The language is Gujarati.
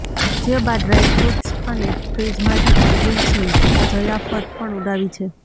જે બાદ ડ્રાયફ્રૂટસ અને ફ્રિઝમાંથી કોલ્ડ્રીંકસની જયાફત પણ ઉડાવી છે